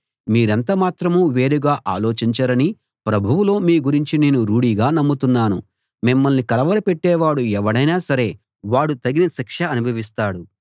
మీరెంత మాత్రమూ వేరుగా ఆలోచించరని ప్రభువులో మీ గురించి నేను రూఢిగా నమ్ముతున్నాను మిమ్మల్ని కలవరపెట్టేవాడు ఎవడైనా సరే వాడు తగిన శిక్ష అనుభవిస్తాడు